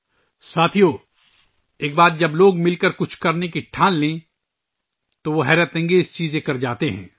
ساتھیو، ایک بار جب لوگ مل کر کچھ کرنے کا عزم کر لیتے ہیں، تو وہ شاندار کام کر جاتے ہیں